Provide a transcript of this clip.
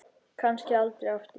Kannski aldrei aftur.